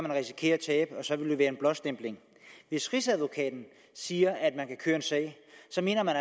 risikere at tabe og så vil det være en blåstempling hvis rigsadvokaten siger at man kan køre en sag så mener man